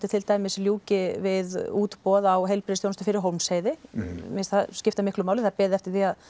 til dæmis ljúki við útboð á heilbrigðisþjónustu fyrir Hólmsheiði mér finnst það skipta miklu máli það er beðið eftir því að